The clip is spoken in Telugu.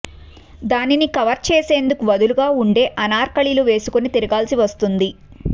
దానిని కవర్ చేసేందుకు వదులుగా ఉండే అనార్కలిలు వేసుకుని తిరగాల్సి వస్తుంది